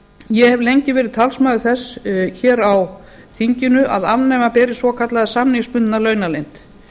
ég hef lengi verið talsmaður þess hér á þinginu að afnema beri svokallaða samningsbundna launaleynd